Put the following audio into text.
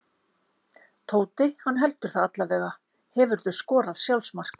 Tóti, hann heldur það allavega Hefurðu skorað sjálfsmark?